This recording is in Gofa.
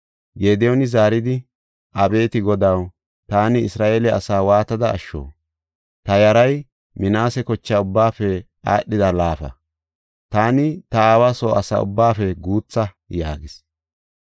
Gediyooni zaaridi, “Abeeti Godaw, taani Isra7eele asaa waatada asho? Ta yaray Minaase kocha ubbaafe aadhida laafa; taani ta aawa soo asa ubbaafe guutha” yaagis.